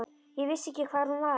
Ég vissi ekki hver hún var.